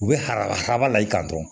U bɛ habala haba la i kan dɔrɔn